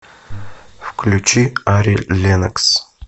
включи ари леннокс